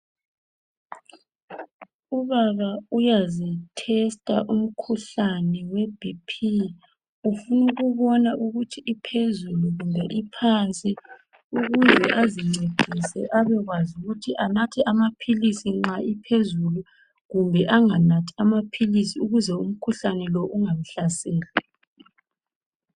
Ubaba uyazithestha umkhuhlane we'BP'. Ufuna ukubona ukuthi iphezulu kumbe iphansi. Ukuze azincedise abekwazi ukuthi anathe amapilisi nxa iphezulu kumbe enganathi ukuze umkhuhlane ungamhlaseli.